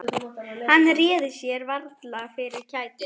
Hann réði sér varla fyrir kæti.